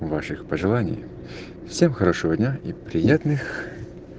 ваших пожеланий всем хорошего дня и приятных